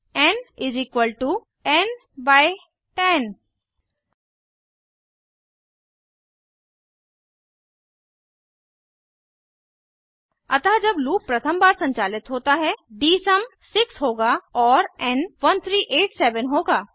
N N 10 अतः जब loop प्रथम बार संचालित होता है डीएसयूम 6 होगा और एन 1387 होगा